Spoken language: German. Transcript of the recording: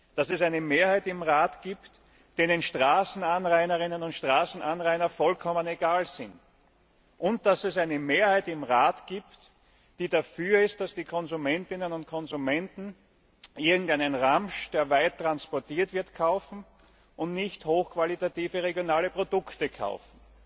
Dass es eine Mehrheit im Rat gibt, denen Straßenanrainerinnen und Straßenanrainer vollkommen egal sind, und dass es eine Mehrheit im Rat gibt, die dafür ist, dass die Konsumentinnen und Konsumenten irgendeinen Ramsch, der weit transportiert wird, und nicht hochqualitative regionale Produkte kaufen.